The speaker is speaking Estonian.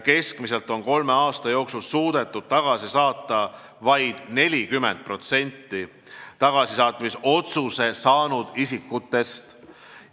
Keskmiselt on kolme aasta jooksul suudetud tagasi saata vaid 40% tagasisaatmise otsuse saanud isikutest.